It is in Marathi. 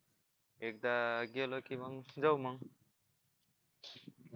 एकदा गेलो की मग जाऊ मग